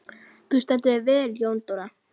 Þú stendur þig vel, Jóndóra!